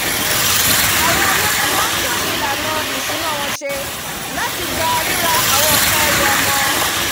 àwọn olóyún má tún ìlànà èto ìsúná wọn ṣe láti gba ríra àwọn nkan ẹrù ọmọ